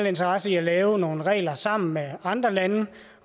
interesse i at lave nogle regler sammen med andre lande